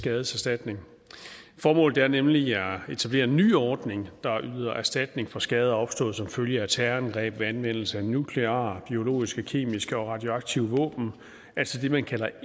skadeserstatning formålet er nemlig at etablere en ny ordning der yder erstatning for skader opstået som følge af terrorangreb ved anvendelse af nukleare biologiske kemiske og radioaktive våben altså det man kalder